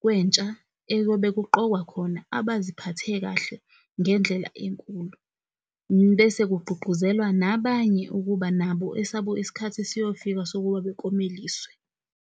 kwentsha eyobe kuqokwa khona abaziphathe kahle ngendlela enkulu. Bese kugqugquzelwa nabanye ukuba nabo esabo isikhathi siyofika sokuba beklomeliswe.